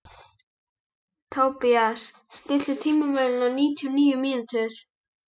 Tobías, stilltu tímamælinn á níutíu og níu mínútur.